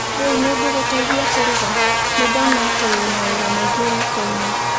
Rĩu nĩngũgũteithia kũrũga? Nĩndona atĩ wĩna wĩra mũingĩ riko-inĩ.